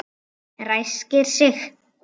Ræskir sig.